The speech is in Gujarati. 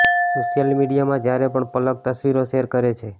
સોશિયલ મીડિયામાં જ્યારે પણ પલક તસવીરો શૅર કરે છે